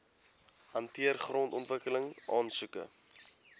hanteer grondontwikkeling aansoeke